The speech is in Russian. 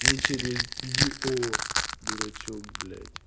не через й о дурачок блять